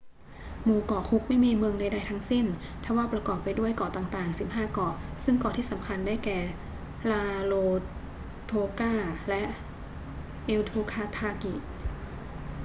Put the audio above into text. หมู่เกาะคุกไม่มีเมืองใด ๆ ทั้งสิ้น ทว่าประกอบไปด้วยเกาะต่าง ๆ 15 เกาะ ซึ่งเกาะที่สำคัญได้แก่ rarotonga และ aitutaki